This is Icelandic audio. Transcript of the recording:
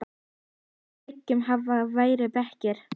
Meðfram veggjum hafa verið bekkir.